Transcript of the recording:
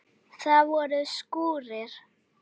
Það voru skúrir.